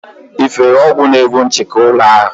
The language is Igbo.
Ị fere ọgwụ na-egbu nchịki ụlọ ahụ?